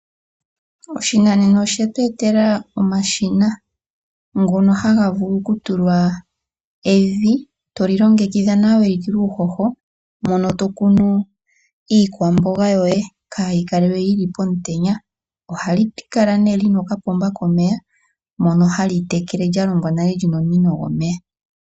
Oshinanena oshe tu etela omashina ngono haga vulu oku tulwa evi lya longekidhwa nawa lya tulwa uuhoho mono to kunu iikwamboga yoye kaa yi kale yi li pomutenya. Oha li kala li na okapomba komeya mono h li tekele nale li na omunino gwomeya.